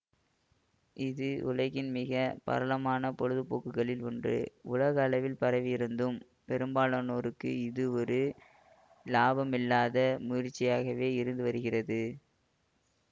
இது உலகின் மிக பரலமான பொழுது போக்குகளில் ஒன்று உலக அளவில் பரவி இருந்தும் பெரும்பாலானோருக்கு இது ஒரு இலாபமில்லாத முயற்சியாகவே இருந்து வருகிறது